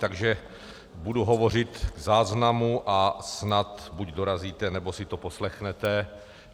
Takže budu hovořit v záznamu a snad buď dorazíte, nebo si to poslechnete.